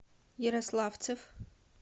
ярославцев